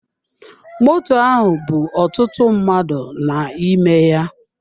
Moto ahụ bú ọtụtụ mmadụ n'ime ya.